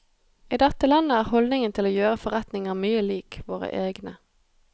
I dette landet er holdningen til å gjøre forretninger mye lik våre egne.